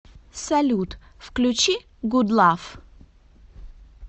салют включи гудлав